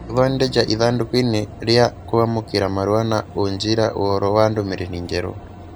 Gũthondeja ithandūkū inī rīa kwamūkīra marua na ũnjĩra ũhoro wa ndũmĩrĩri njerũ